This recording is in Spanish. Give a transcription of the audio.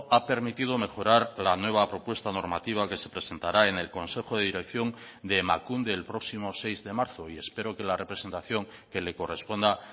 ha permitido mejorar la nueva propuesta normativa que se presentará en el consejo de dirección de emakunde el próximo seis de marzo y espero que la representación que le corresponda